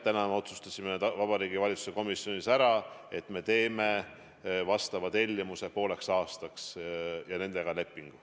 Täna me otsustasime Vabariigi Valitsuse komisjonis ära, et me teeme tellimuse pooleks aastaks ja nendega lepingu.